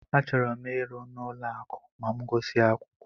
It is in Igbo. Achọrọ m ịrụ n'ụlọ akụ ma m gusia akwụkwọ.